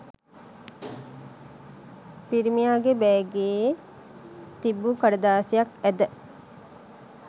පිරිමියාගේ බෑගයේ තිබු කඩදාසියක් ඇද